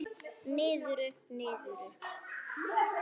Niður, upp, niður upp.